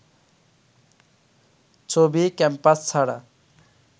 চবি ক্যাম্পাস ছাড়া